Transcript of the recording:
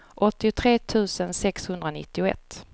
åttiotre tusen sexhundranittioett